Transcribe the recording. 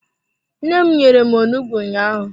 Nne m nyere m onugbu ụnyaahụ.